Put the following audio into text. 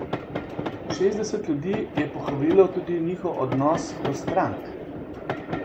Šestdeset ljudi je pohvalilo tudi njihov odnos do strank.